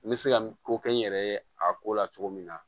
N bɛ se ka ko kɛ n yɛrɛ ye a ko la cogo min na